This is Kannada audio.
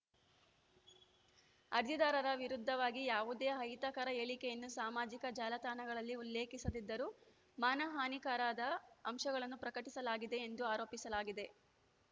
ಅರ್ಜಿದಾರರ ವಿರುದ್ಧವಾಗಿ ಯಾವುದೇ ಅಹಿತಕರ ಹೇಳಿಕೆಯನ್ನು ಸಾಮಾಜಿಕ ಜಾಲತಾಣಗಳಲ್ಲಿ ಉಲ್ಲೇಖಿಸದಿದ್ದರೂ ಮಾನಹಾನಿಕರದ ಅಂಶಗಳನ್ನು ಪ್ರಕಟಿಸಲಾಗಿದೆ ಎಂದು ಆರೋಪಿಸಿಸಲಾಗಿದೆ